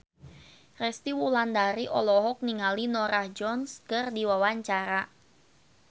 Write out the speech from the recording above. Resty Wulandari olohok ningali Norah Jones keur diwawancara